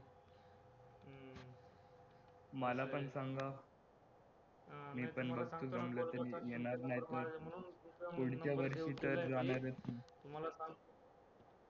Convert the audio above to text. मला पण सांगा पुढच्या वर्षी तर जाणारच मी